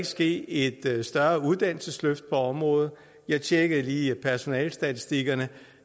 ske et større uddannelsesløft på området jeg tjekkede lige personalestatistikkerne